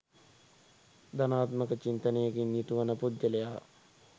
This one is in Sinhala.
ධනාත්මක චින්තනයකින් යුතු වන පුද්ගලයා